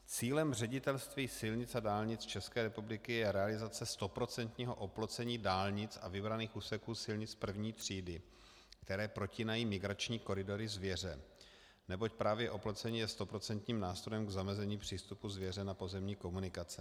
Cílem Ředitelství silnic a dálnic České republiky je realizace stoprocentního oplocení dálnic a vybraných úseků silnic první třídy, které protínají migrační koridory zvěře, neboť právě oplocení je stoprocentním nástrojem k zamezení přístupu zvěře na pozemní komunikace.